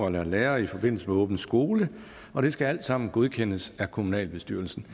eller lærere i forbindelse med åben skole og det skal alt sammen godkendes af kommunalbestyrelsen